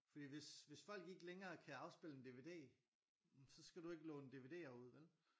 Fordi hvis hvis folk de ikke længere kan afspille en DVD jamen så skal du jo ikke låne DVDer ud vel?